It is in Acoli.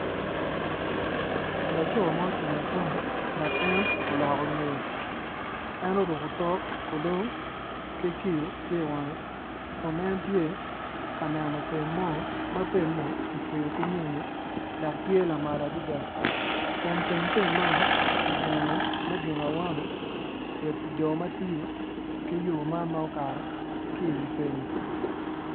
Laco ma ocung acunga dok en oloko ngeye en oruko tok kulong ki kiyo tye iwange kun en tye ka neno pem mo ma pemme kicweyo ki nyonyo dok tye lamal adada kun teng pem man kigengo me gengo awano ki jo ma tiyo ki yo man ma okato ki iwi pemmi.